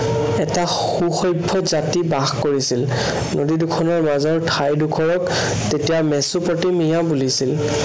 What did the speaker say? এটা সু-সভ্য় জাতি বাস কৰিছিল। নদী দুখনৰ মাজৰ ঠাই ডোখৰক তেতিয়া মেচুপতেমিয়া বুলিছিল।